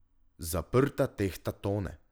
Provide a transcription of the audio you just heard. Zaprta tehta tone.